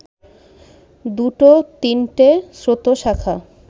দুটো-তিনটে স্রোতশাখা